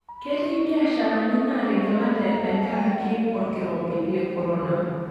Etii mbiasharani naatigilate tenkaraki olkirobi le korona.